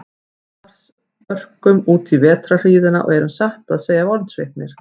Við Lars örkum útí vetrarhríðina og erum satt að segja vonsviknir.